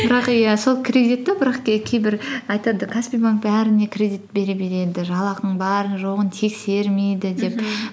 бірақ иә сол кредитті бірақ кейбір айтады каспи банк бәріне кредит бере береді жалақың барын жоғын тексермейді деп